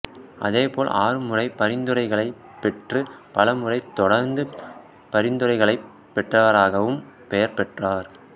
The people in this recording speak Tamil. அதே போல் ஆறு முறை பரிந்துரைகளைப் பெற்று பல முறைத் தொடர்ந்து பரிந்துரைகளைப் பெற்றவராகவும் பெயர் பெற்றார்